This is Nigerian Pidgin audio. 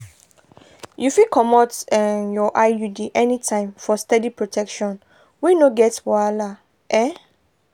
you fit comot um your iud anytime for steady protection wey no get wahala. um